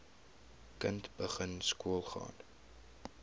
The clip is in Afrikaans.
kind begin skoolgaan